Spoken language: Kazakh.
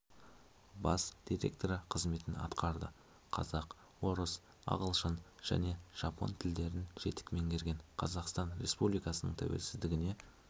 бас директоры қызметін атқарды қазақ орыс ағылшын және жапон тілдерін жетік меңгерген қазақстан республикасының тәуелсіздігіне